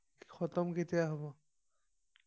থতম কেতিয়া হব